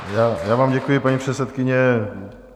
Já vám děkuji, paní předsedkyně.